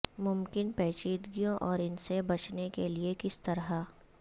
ممکن پیچیدگیوں اور ان سے بچنے کے لئے کس طرح